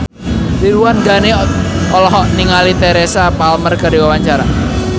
Ridwan Ghani olohok ningali Teresa Palmer keur diwawancara